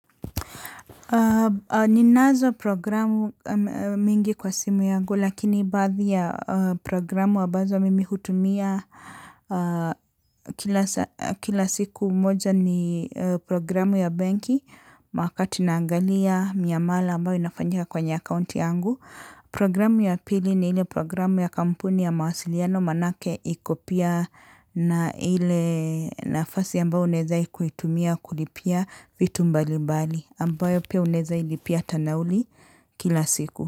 Ninazo programu mingi kwa simu yangu lakini baadhi ya programu ambazo mimi hutumia kila siku moja ni programu ya benki wakati naangalia miamala ambayo inafanyika kwenye akaunti yangu. Programu ya pili ni ile programu ya kampuni ya mawasiliano manake iko pia na ile nafasi ambayo unaweza kuitumia kulipia vitu mbalimbali ambayo pia unaweza ilipia tanauli kila siku.